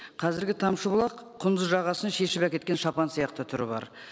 қазіргі тамшыбұлақ құндыз жағасын шешіп әкеткен шапан сияқты түрі бар